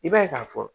I b'a ye k'a fɔ